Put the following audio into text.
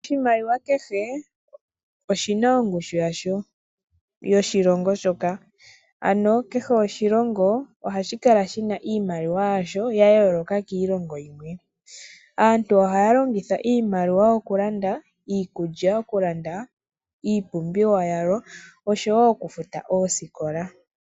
Oshimaliwa kehe, oshi na ongushu ya sho yoshilongo shoka. Ano kehe oshilongo ohashi kala shi na iimaliwa yasho ya yooloka kiilongo yimwe. Aantu ohaya longitha iimaliwa okulanda iikulya, okulanda iipumbiwa yawo, oshowo okufuta oosikola.